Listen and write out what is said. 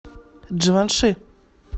дживанши